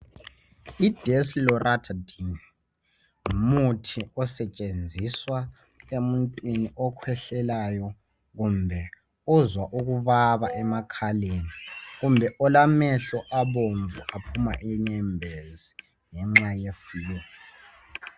I desloratadine ngumuthi osetshenziswa emuntwini okhwehlelayo kumbe ozwa ukubaba emakhaleni, kumbe olamehlo abomvu aphuma inyembezi ngenxa ye flue.